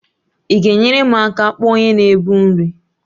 Ị ga-enyere m aka kpọọ onye na-ebu nri?